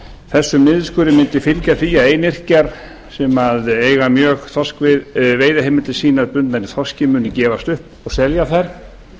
þessum niðurskurði mundi fylgja því að einyrkjar sem eiga mjög veiðiheimildir sínar bundnar í þorski munu gefast upp og selja þær